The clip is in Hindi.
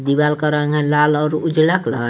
दीवाल का रंग है लाल और उजाला कलर ।